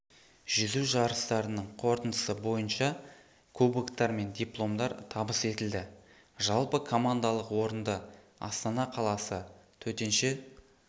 жүзу жарыстарының қорытындысы бойынша кубоктар мен дипломдар табыс етілді жалпы командалық орынды астана қаласы төтенше